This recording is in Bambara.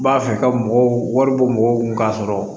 N b'a fɛ ka mɔgɔw wari bɔ mɔgɔw kun k'a sɔrɔ